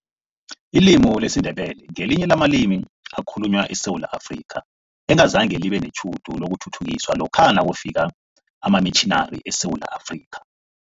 Ilimi lesiNdebele ngelinye lamalimi ekhalunywa eSewula Afrika, engazange libe netjhudu lokuthuthukiswa lokha nakufika amamitjhinari eSewula Afrika.